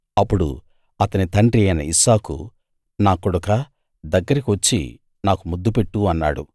అప్పుడు అతని తండ్రి అయిన ఇస్సాకు నా కొడుకా దగ్గరికి వచ్చి నాకు ముద్దు పెట్టు అన్నాడు